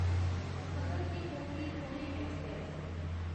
Bhagat ki Kothi Pune express